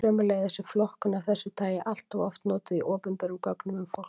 Sömuleiðis er flokkun af þessu tagi alloft notuð í opinberum gögnum um fólk.